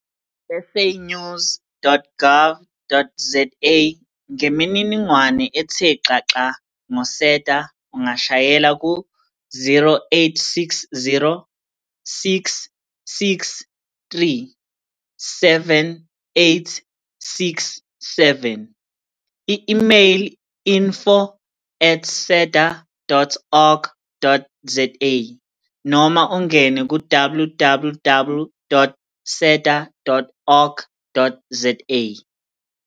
SAnews.gov.zaNgemininingwane ethe xaxa ngo-SEDA ungashayela ku-0860 663 7867, i-imeyili info@seda.org.za noma ungene ku-www.seda.org.za.